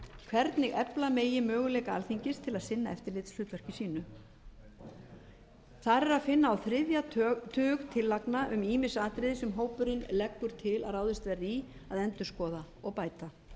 hvernig efla megi möguleika alþingis til að sinna eftirlitshlutverki sínu þar er að finna á þriðja tug tillagna um ýmis atriði sem hópurinn leggur til að ráðist verði í að endurskoða og bæta